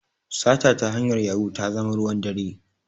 Sata ta hanyar yahu ta zama ruwan dare